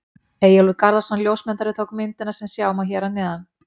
Eyjólfur Garðarsson ljósmyndari tók myndina sem sjá má hér að neðan.